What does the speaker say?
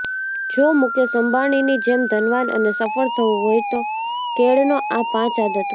જો મુકેશ અંબાણીની જેમ ધનવાન અને સફળ થવું હોય તો કેળવો આ પાંચ આદતો